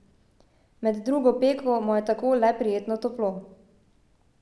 Med drugo peko mu je tako le prijetno toplo.